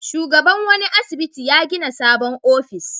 Shugaban wani asibiti ya gina sabon ofis.